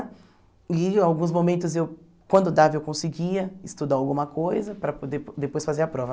E em alguns momentos, eu quando dava, eu conseguia estudar alguma coisa para depois fazer a prova.